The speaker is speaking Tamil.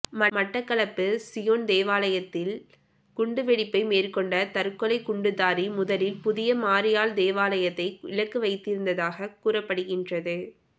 மட்டக்களப்பு சியோன் தேவாலயத்தில் குண்டுவெடிப்பை மேற்கொண்ட தற்கொலைக் குண்டுதாரி முதலில் புனித மரியாள் தேவாலயத்தையே இலக்கு வைத்திருந்ததாக கூறப்படுகின்றது